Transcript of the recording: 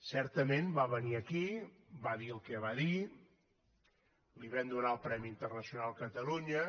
certament va venir aquí va dir el que va dir li vam donar el premi internacional catalunya